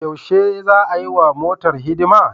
Yaushe za'a yiwa motar hidima?